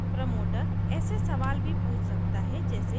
promoter ऐसे सवाल भी पूछ सकता है जैसे